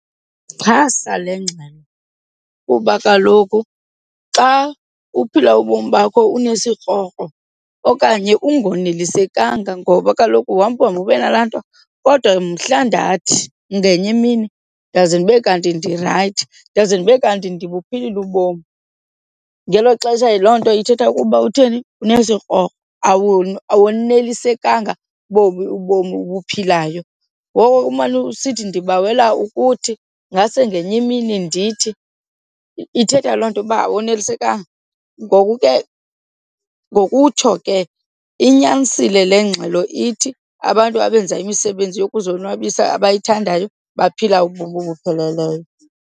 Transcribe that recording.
Ndixhasa le ngxelo kuba kaloku xa uphila ubomi bakho unesikrokro okanye ungonelisekanga ngoba kaloku uhamba uhambe ube nalaa nto, kodwa mhla ndathi ngenye imini ndaze ndibe kanti ndirayithi ndaze ndibe kanti ndibuphilile ubomi. Ngelo xesha loo nto ithetha ukuba utheni? Unesikrokro, awonelisekanga bobu ubomi ubuphilayo. Ngoko ke umane usithi ndibawela ukuthi ngase ngenye imini ndithi, ithetha loo nto uba awonelisekanga. Ngoku ke ngokutsho ke inyanisile le ngxelo ithi, abantu abenza imisebenzi yokuzonwabisa abayithandayo baphila ubomi obupheleleyo.